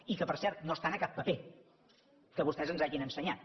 i que per cert no estan a cap paper que vostès ens hagin ensenyat